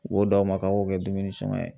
U b'o d'aw ma k'an k'o kɛ dumuni sɔngɔ ye.